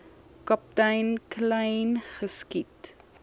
kaptein kleyn geskiet